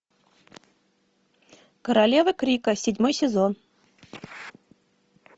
королева крика седьмой сезон